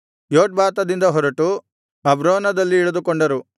ಯೊಟ್ಬಾತದಿಂದ ಹೊರಟು ಅಬ್ರೋನದಲ್ಲಿ ಇಳಿದುಕೊಂಡರು